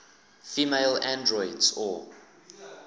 female androids or